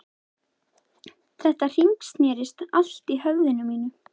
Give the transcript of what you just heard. Þetta hringsnerist allt í höfði mínu.